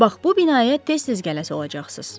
Bax bu binaya tez-tez gələsi olacaqsız.